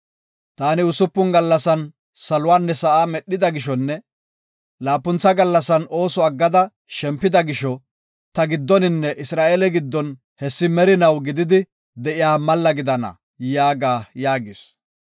Taani usupun gallasan saluwanne sa7aa medhida gishonne laapuntha gallasan ooso aggada shempida gisho, ta giddoninne Isra7eeleta giddon hessi merinaw eqidi de7iya malla gidana’ yaaga” yaagis.